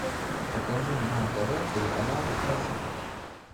покажи на тв телеканал фэшн